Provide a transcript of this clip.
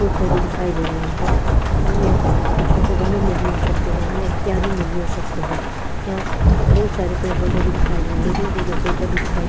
फूल पौधे दिखाई दे रहे हैं और यां छोटे छोटे गमलों में भी हो सकते है यां इत्यादि में भी हो सकते है यहां बहुत सारे पेड़ पौधे भी दिखाई दे रहे है बहुत दूर दूर तक पेड़ पौधे दिखाई--